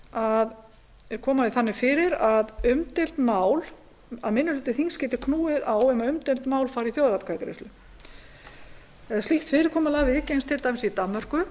að koma því þannig fyrir að minni hluti þings geti knúið á um að umdeild mál fari í þjóðaratkvæðagreiðslu slíkt fyrirkomulag viðgengst til dæmis í danmörku